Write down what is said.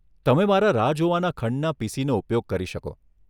તમે મારા રાહ જોવાના ખંડના પીસીનો ઉપયોગ કરી શકો.